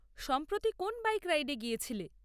সম্প্রতি কোন বাইক রাইডে গিয়েছিলে?